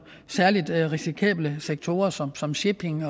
særlig risikable sektorer som som shipping